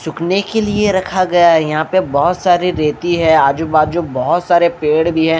सूखने के लिए रखा गया है यहां पे बहुत सारे रेती है आजू बाजू बहुत सारे पेड़ भी हैं।